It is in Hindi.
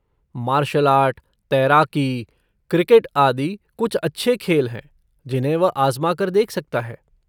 मार्शियल आर्ट, तैराकी, क्रिकेट आदि कुछ अच्छे खेल हैं जिन्हें वह आज़मा कर देख सकता है।